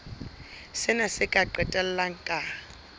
sena se ka qetella ka